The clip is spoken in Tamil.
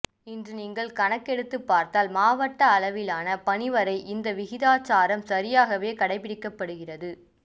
இன்று நீங்கள் கணக்கெடுத்துப்பார்த்தால் மாவட்ட அளவிலான பணி வரை இந்த விகிதாச்சாரம் சரியாகவே கடைபிடிக்கப்படுகிறது